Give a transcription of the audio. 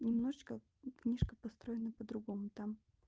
немножечко книжка построена по-другому там